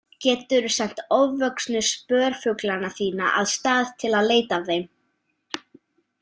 Geturðu sent ofvöxnu spörfuglana þína af stað til að leita að þeim.